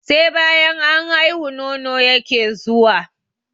Sai banyan an haihu, nono yake zuwa.